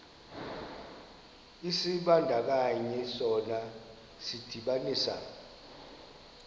isibandakanyi sona sidibanisa